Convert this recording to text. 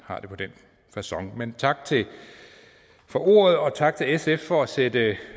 har det på den facon men tak for ordet og tak til sf for at sætte